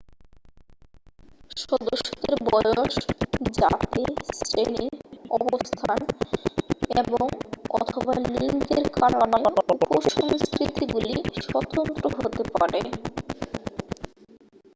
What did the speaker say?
সদস্যদের বয়স জাতি শ্রেণি অবস্থান এবং/অথবা লিঙ্গের কারণে উপ-সংস্কৃতিগুলি স্বতন্ত্র হতে পারে।